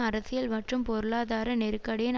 அரசியல் மற்றும் பொருளாதார நெருக்கடியின்